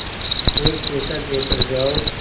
एक पैसा देकर जाओ